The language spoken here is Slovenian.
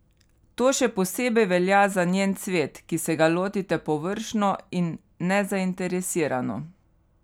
To še posebej velja za njen cvet, ki se ga lotite površno in nezainteresirano.